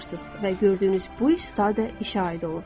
Və gördüyünüz bu iş sadə işə aid olur.